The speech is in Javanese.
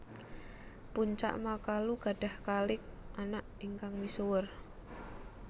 Puncak makalu gadhah kalik anak ingkang misuwur